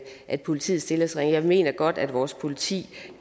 at politiet stilles ringere jeg mener godt at vores politi